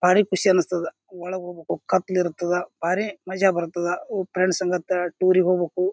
ಭಾರಿ ಖುಷಿ ಅನಿಸುತ್ತದ ಒಳಗ ಹೋಗ್ಬೇಕು ಕತ್ತಲ ಇರುತ್ತದ ಭಾರಿ ಮಜಾ ಬರುತ್ತದ ಫ್ರೆಂಡ್ಸ್ ಮತ್ತ ಟೂರ್ ಇಗ ಹೋಗ್ಬೇಕು.